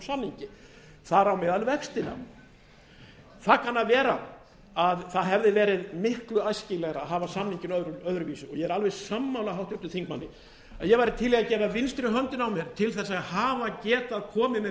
þar á meðal vextina það kann að vera að það hefði verið miklu æskilegra að hafa samninginn öðruvísi og ég er alveg sammála háttvirtum þingmanni og ég væri til með að gefa vinstri höndina á mér til þess að hafa getað komið með